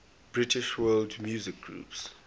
british world music groups